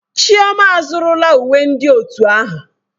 Chioma azụrụla uwe ndị otu ahụ.